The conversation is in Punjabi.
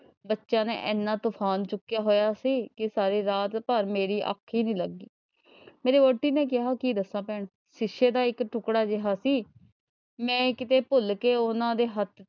ਬੱਚਿਆਂ ਨੇ ਐਨਾ ਤੂਫ਼ਾਨ ਚੁੱਕਿਆ ਹੋਇਆ ਸੀ ਕਿ ਸਾਰੀ ਰਾਤ ਭਰ ਮੇਰੀ ਅੱਖ ਈ ਨਈਂ ਲੱਗੀ। ਮੇਰੀ ਵਹੁਟੀ ਨੇ ਕਿਹਾ ਦੱਸਾਂ ਭੈਣ, ਸ਼ੀਸ਼ੇ ਦਾ ਇੱਕ ਟੁੱਕੜਾ ਜਿਹਾ ਸੀ ਮੈਂ ਕਿਤੇ ਭੁੱਲ ਕੇ ਉਹ ਉਨ੍ਹਾਂ ਦੇ ਹੱਥ,